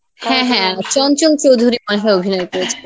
হ্যাঁ হ্যাঁ চঞ্চল চৌধুরী মনেহয় অভিনয় করেছে